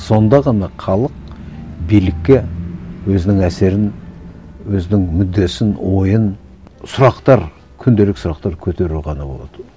сонда ғана халық билікке өзінің әсерін өзінің мүддесін ойын сұрақтар күнделік сұрақтар көтеру ғана болады